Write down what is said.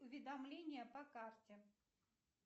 уведомления по карте